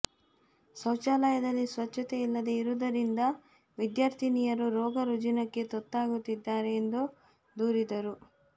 ಶೌಚಾಲಯದಲ್ಲಿ ಸ್ವಚ್ಛತೆ ಇಲ್ಲದೆ ಇರುವುದರಿಂದ ವಿದ್ಯಾರ್ಥಿನಿಯರು ರೋಗ ರುಜಿನಕ್ಕೆ ತುತ್ತಾಗುತ್ತಿದ್ದಾರೆ ಎಂದು ದೂರಿದರು